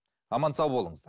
аман сау болыңыздар